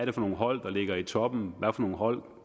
er for nogle hold der ligger i toppen og hvad for nogle hold